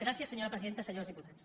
gràcies senyora presidenta senyors diputats